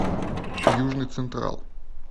южный централ